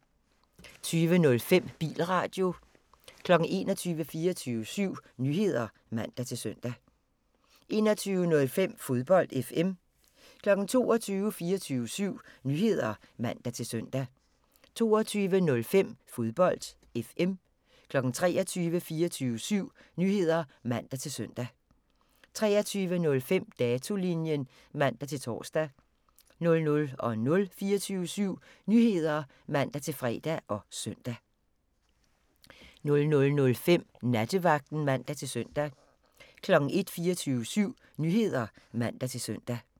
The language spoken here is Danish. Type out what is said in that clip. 20:05: Bilradio 21:00: 24syv Nyheder (man-søn) 21:05: Fodbold FM 22:00: 24syv Nyheder (man-søn) 22:05: Fodbold FM 23:00: 24syv Nyheder (man-søn) 23:05: Datolinjen (man-tor) 00:00: 24syv Nyheder (man-fre og søn) 00:05: Nattevagten (man-søn) 01:00: 24syv Nyheder (man-søn)